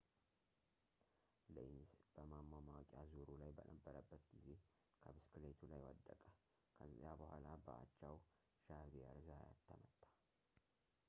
ሌንዝ በማማሟቂያ ዙሩ ላይ በነበረበት ጊዜ ከብስክሌቱ ላይ ወደቀ ከዚያ በኋላ በአቻው ዣቪየር ዛያት ተመታ